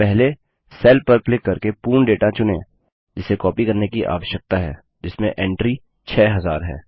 तो पहले सेल पर क्लिक करके पूर्ण डेटा चुनें जिसे कॉपी करने की आवश्यकता है जिसमें एंट्री 6000 है